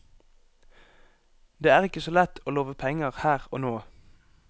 Det er ikke så lett å love penger her og nå.